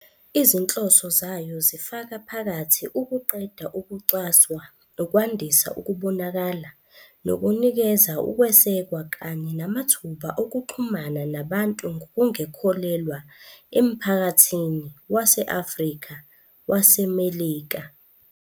Izinhloso zayo zifaka phakathi ukuqeda ukucwaswa, ukwandisa ukubonakala, nokunikeza ukwesekwa kanye namathuba okuxhumana nabantu ngokungekholelwa emphakathini wase-Afrika-waseMelika.